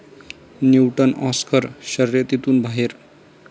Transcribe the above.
Newton' Oscar शर्यतीतून बाहेर